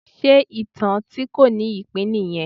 Ṣe ìtàn tí kò ní ìpín nìyẹn?